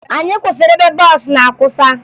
Anyị kwụsịrị ebe bọọsụ na-akwụsa